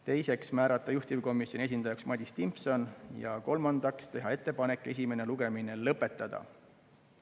Teiseks, määrata juhtivkomisjoni esindajaks Madis Timpson, ja kolmandaks, teha ettepanek esimene lugemine lõpetada.